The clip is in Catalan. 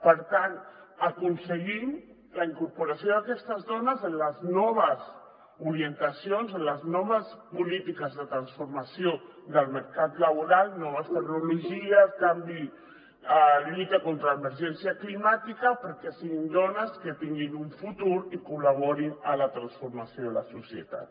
per tant aconseguim la incorporació d’aquestes dones en les noves orientacions en les noves polítiques de transformació del mercat laboral noves tecnologies lluita contra l’emergència climàtica perquè siguin dones que tinguin un futur i col·laborin a la transformació de la societat